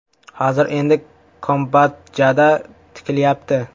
Hozir endi Kambodjada tikilyapti.